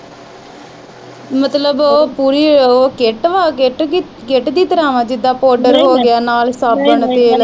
ਮਤਲਬ ਉਹ ਪੂਰੀ ਉਹ ਕਿੱਟ ਵਾ ਕਿੱਟ ਕਿੱਟ ਦੀ ਤਰਾਂ ਵਾ ਜਿਦਾ ਪਾਊਡਰ ਹੋਗਿਆ ਨਾਲ ਈ ਸਾਬਣ, ਤੇਲ।